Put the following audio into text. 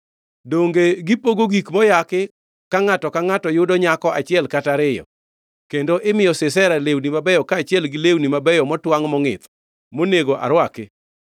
‘Donge gipogo gik moyaki ka ngʼato ka ngʼato yudo nyako achiel kata ariyo, kendo imiyo Sisera lewni mabeyo kaachiel gi lewni mabeyo motwangʼ mongʼith, monego arwaki?’